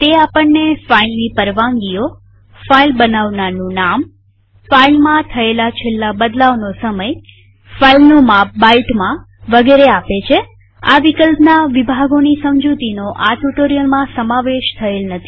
તે આપણને ફાઈલની પરવાનગીઓફાઈલ બનાવનારનું નામફાઈલમાં છેલ્લા થયેલ બદલાવનો સમયફાઈલનું માપ બાઈટમાં વગેરે આપે છેઆ વિકલ્પના વિભાગોની સમજુતીનો આ ટ્યુ્ટોરીઅલમાં સમાવેશ થયેલ નથી